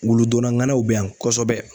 Wuludonna ŋanaw bɛ yan kosɛbɛ